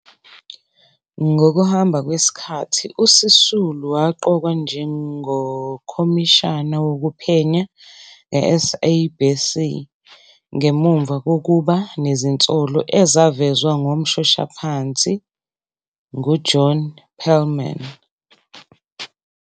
Ngokuhamba kwesikhathi, uSisulu waqokwa njengomkhomishana wokuphenya ngeSABC ngemuva kokuba nezinsolo ezavezwa ngomshoshaphansi nguJohn Perlman.